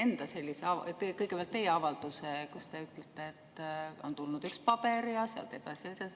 Ma siiski ootaksin kõigepealt ära teie enda avalduse, kus te ütlete, et on tulnud üks paber, ja nii edasi ja nii edasi.